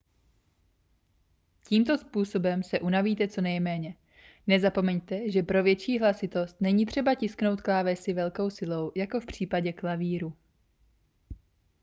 tímto způsobem se unavíte co nejméně nezapomeňte že pro větší hlasitost není třeba tisknout klávesy velkou silou jako v případě klavíru